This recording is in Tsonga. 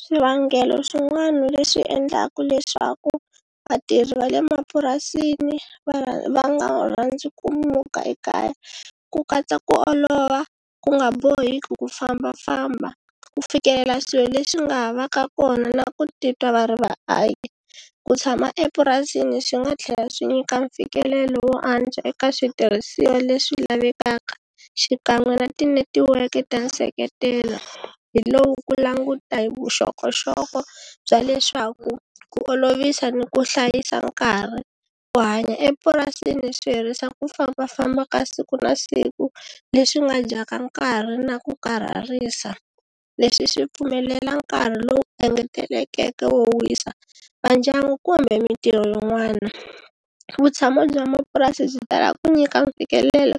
Swivangelo swin'wana leswi endlaka leswaku vatirhi va le mapurasini va va nga rhandzi ku muka ekaya ku katsa ku olova, ku nga boheki ku fambafamba ku fikelela swilo leswi nga ha va ka kona na ku titwa va ri vaaki. Ku tshama epurasini swi nga tlhela swi nyika mfikelelo wo antswa eka switirhisiwa leswi lavekaka xikan'we na ti netiweke ta nseketelo hi lowu ku languta hi vuxokoxoko bya leswaku ku olovisa ni ku hlayisa nkarhi, ku hanya epurasini swi herisa ku fambafamba ka siku na siku leswi nga dyaka nkarhi na ku karhalisa leswi swi pfumelela nkarhi lowu engetelekeke wo wisa va ndyangu kumbe mintirho yin'wana. Vutshamo bya mapurasi byi talaka ku nyika mfikelelo